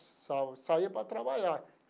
Sal saía para trabalhar.